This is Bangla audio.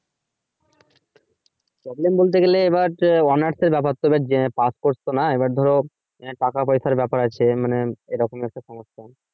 প্রবলেম বলতে গেলে এবার আহ honor's এর ব্যাপার স্যাপার যেভাবে pass করছো না এবার ধরো টাকা পয়সার ব্যাপার আছে মানে এরকম একটা সমস্যা